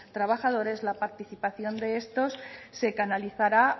trabajadores la participación de estos se canalizará